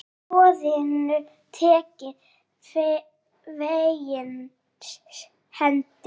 Var boðinu tekið fegins hendi.